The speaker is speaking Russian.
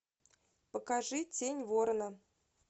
покажи тень ворона